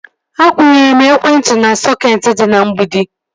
Akwụnyere m ekwentị m na sọketi dị na mgbidi